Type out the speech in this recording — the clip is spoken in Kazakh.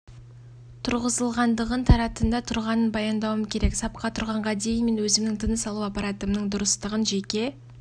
тұрғызылғандығын таратында тұрғанын баяндауым керек сапқа тұрғанға дейін мен өзімнің тыныс алу аппаратымның дұрыстығын жеке